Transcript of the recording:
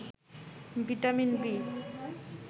vitamin B